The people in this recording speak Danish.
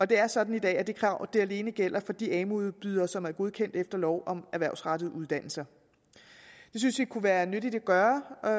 det er sådan i dag at det krav alene gælder for de amu udbydere som er godkendt efter lov om erhvervsrettede uddannelser det synes vi kunne være nyttigt at gøre og